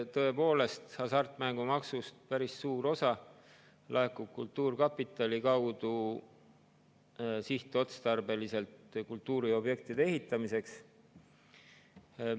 Tõepoolest, hasartmängumaksust päris suur osa laekub kultuurkapitali kaudu sihtotstarbeliselt kultuuriobjektide ehitamiseks.